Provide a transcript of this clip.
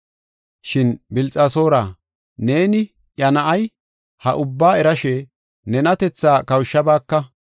“Shin Bilxasoora, neeni iya na7ay, ha ubbaa erashe ne nenatethaa kawushabaaka.